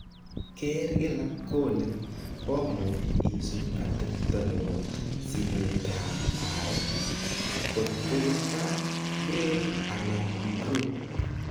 Keer kila kole komuch isub atepto nebo sigeetab areek. kot ko kipkaa, grade ana improved.